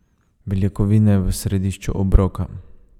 Beljakovine v središču obroka.